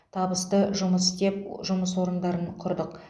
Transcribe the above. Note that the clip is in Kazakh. табысты жұмыс істеп жұмыс орындарын құрдық